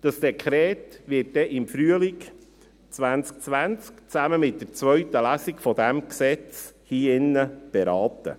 Dieses Dekret wird dann im Frühling 2020 zusammen mit der zweiten Lesung dieses Gesetzes hier beraten.